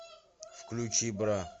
включи бра